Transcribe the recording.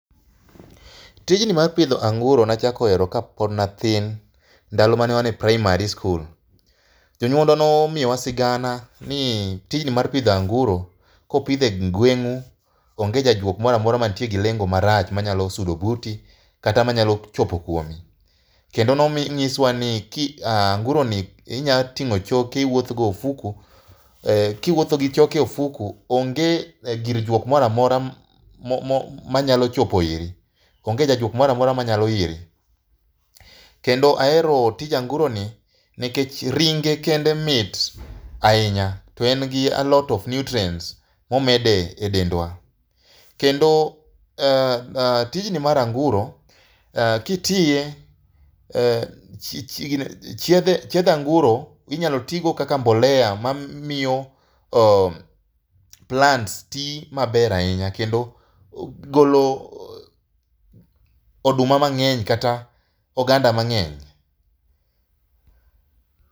Tijni mar pidho anguro nachako hero kapod nathin, ndalo ma ne wan e primary school. Jonyuolwa nomiyowa sigana ni tijni mar pidho anguro ,kopidhe gweng' u,onge jajuok moramora mantie gi lengo marach manyalo sudo buti, kata manyalo chopo kuomi. Kendo nonyiswa ni anguroni inya ting'o choke iwuoth go ofuko, kiwuotho gi choke e ofuko, onge gir juok mora mora manyalo chopo iri. Onge jajuok mora mora manyalo iri. Kendo ahero tij anguroni nikech ringe kende mit ahinya to en gi alot of nutrients momedo e dendwa. Kendo tijni mar anguro, kitiye chiedh anguro inyalo tigo kaka mbolea mamiyo plants ti maber ahinya, kendo golo oduma mang'eny kata oganda mang'eny.